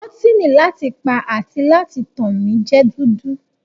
Bọ́tíni láti pa àti láti tàn mi jẹ́ dúdú.